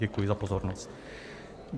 Děkuji za pozornost.